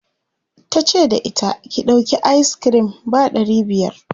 tace da ita," ki ɗauki ayis kirim ba ɗari biyar!'